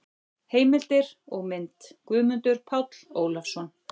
Heimildir og mynd: Guðmundur Páll Ólafsson.